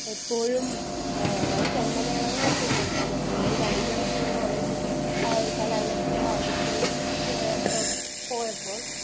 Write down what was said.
എപ്പോഴും ചെണ്ട മേളങ്ങളൊക്കെ കേൾക്കാൻ പറ്റും . ഞാൻ കഴിഞ്ഞ തവണ ഒരു കോളേജിന്റെ കലാലയത്തിന്റെ വാതുക്കൽ പോയപ്പോൾ